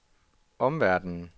omverdenen